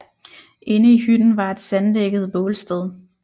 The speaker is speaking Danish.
Inde i hytten var et sanddækket bålsted